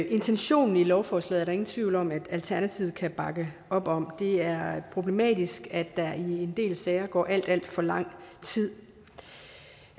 intentionen i lovforslaget er der ingen tvivl om at alternativet kan bakke op om for det er problematisk at der i en del sager går alt alt for lang tid